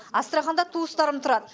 астраханьда туыстарым тұрады